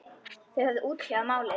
Þeir höfðu útkljáð málið.